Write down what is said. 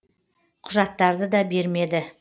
құжаттарды да бермеді